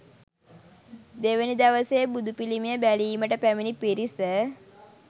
දෙවැනි දවසේ බුදුපිළිමය බැලීමට පැමිණි පිරිස